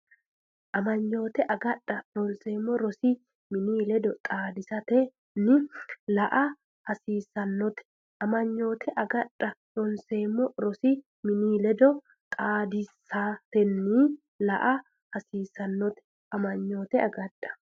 Amanyoote agadha ronseemmo rosi mini ledo xaadisatenni la”a hasiissannote Amanyoote agadha ronseemmo rosi mini ledo xaadisatenni la”a hasiissannote Amanyoote agadha.